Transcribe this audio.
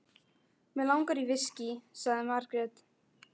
Mig langar í viskí, sagði Margrét.